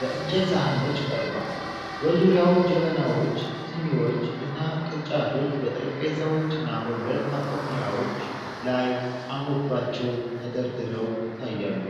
በእንጨት ሳህኖች ቀርቧል። በዙሪያው ጀበናዎች፣ ሲኒዎች እና ቅርጫቶች በጠረጴዛዎችና በብረት ማቆሚያዎች ላይ አምሮባቸው ተደርድረው ይታያሉ።